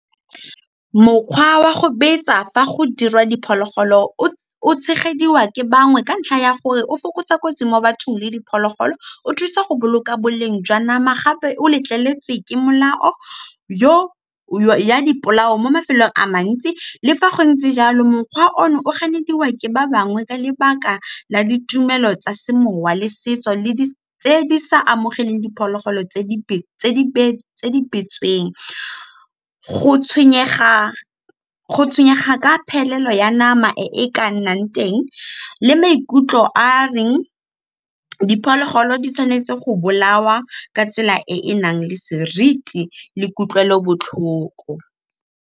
Mokgwa wa go betsa fa go dirwa diphologolo o tshegediwa ke bangwe ka ntlha ya gore o fokotsa kotsi mo bathong le diphologolo, o thusa go boloka boleng jwa nama gape o letleletswe ke molao ya dipolao mo mafelong a mantsi. Le fa go ntse jalo mokgwa ono o ganediwa ke ba bangwe ka lebaka la ditumelo tsa semowa le setso sa amogeleng diphologolo tse di go tshwenyega ka phelelo ya nama e e ka nnang teng le maikutlo a a reng diphologolo di tshwanetse go bolawa ka tsela e e nang le seriti le kutlwelobotlhoko.